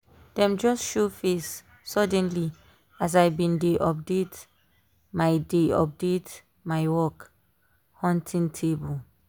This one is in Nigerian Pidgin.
dem just show face suddenly as i been dey update my dey update my work-hunting table